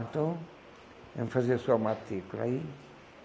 Então, vamos fazer a sua matrícula aí.